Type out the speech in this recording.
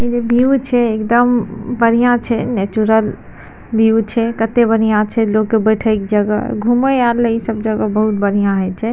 View छै एकदम बढ़िया छै नेचुरल व्यू छै कते बढ़िया छै लोग के बैठे के जगह घूमे आर ले इ सब जगह बहुत बढ़िया हेय छै।